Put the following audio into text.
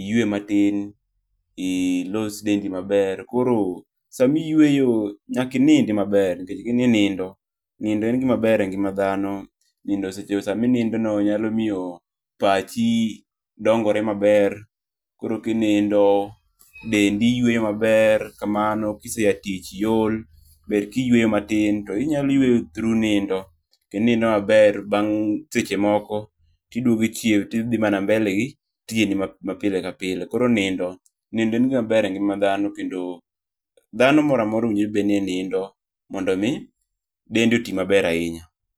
iyuwe matin ,ilos dendi maber. Koro sama iyueyo, nyaka inindi maber nikech nindo, nindo en gima ber e ngima dhano. Nindo sama inindono nyalo miyo pachi dongore maber. Koro kinindo dendi yweyo maber kamano, kise ya tich iol, ber kiyweyo matin. To inyalo yweyo through nindo. Kendo inindo maber bang' seche moko, kidwogo ichiew tidhi mana mbele gi tijeni mapile kapile. Koro nindo ,nindo en gima ber e ngima dhano. Kendo dhano mora mora owinjore be ni nindo mondo omi dende oti maber ahinya.